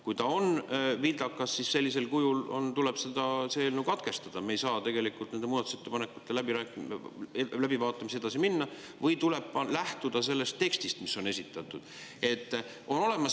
Kui ta on sellisel kujul vildakas, siis tuleb see eelnõu katkestada, me ei saa nende muudatusettepanekute läbivaatamisega edasi minna, või tuleb lähtuda sellest tekstist, mis on esitatud.